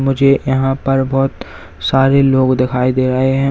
मुझे यहां पर बहुत सारे लोग दिखाई दे रहे है।